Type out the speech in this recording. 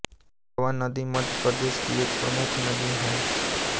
तवा नदी मध्यप्रदेश की एक प्रमुख नदी हैं